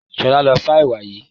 Ṣolá ló sá ẹwà yìí.